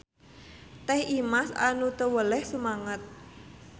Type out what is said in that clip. Teh Imas anu teu weleh sumanget.